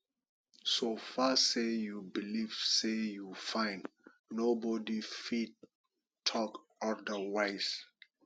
so far say you believe say you fine nobody fit talk odirwise win